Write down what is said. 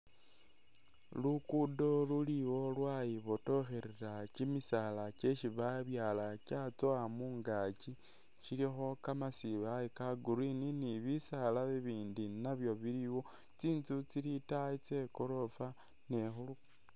Lugudo luliwo lwayibotokhelela kyimisala kyesi babyala kyatsowa mungakyi kyilikho kamasibaye ka’green ni bisala ibindi nabyo biliwo, tsitsu tsili itayi tse gorofa